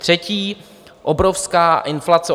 Třetí - obrovská inflace.